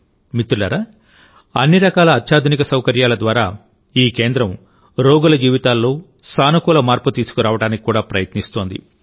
మిత్రులారాఅన్ని రకాల అత్యాధునిక సౌకర్యాల ద్వారాఈ కేంద్రం రోగుల జీవితాల్లో సానుకూల మార్పు తీసుకురావడానికి కూడా ప్రయత్నిస్తోంది